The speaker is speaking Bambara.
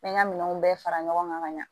N bɛ n ka minɛnw bɛɛ fara ɲɔgɔn ka ɲa